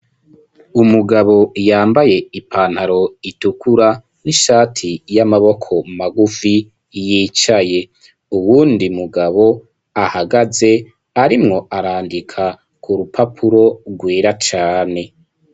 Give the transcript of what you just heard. Umugabo, yambaye ipantaro, itukura, n'ishati y'amaboko magufi, yicaye; uwundi mugabo ahagaze, arimwo arandika, ku rupapuro, rwera cane.